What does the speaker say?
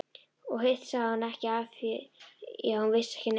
Og hitt sagði hún ekki afþvíað hún vissi ekki neitt.